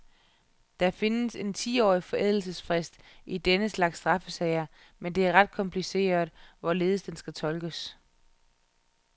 Der findes en tiårig forældelsesfrist i denne slags straffesager, men det er ret kompliceret, hvorledes den skal tolkes.